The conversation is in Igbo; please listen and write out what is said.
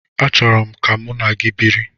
Achọrọ m ka mụ na gị biri.